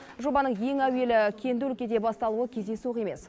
жобаның ең әуелі кенді өлкеде басталуы кездейсоқ емес